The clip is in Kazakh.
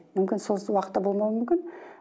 мүмкін сол уақытта болмауы мүмкін